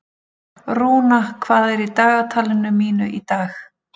Rúna, hvað er í dagatalinu mínu í dag?